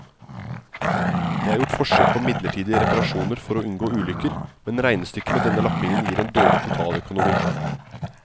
Det er gjort forsøk på midlertidig reparasjoner for å unngå ulykker, men regnestykket med denne lappingen gir en dårlig totaløkonomi.